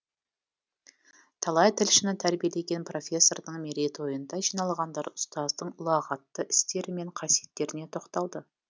талай тілшіні тәрбиелеген профессордың мерейтойында жиналғандар ұстаздың ұлағатты істері мен қасиеттеріне тоқталды